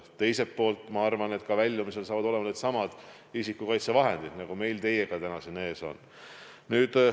Teisalt ma arvan, et ka väljumisel saavad määravaks needsamad isikukaitsevahendid, mis meil teiega täna siin ees on.